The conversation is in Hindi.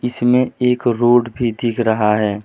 इसमें एक रोड भी दिख रहा है।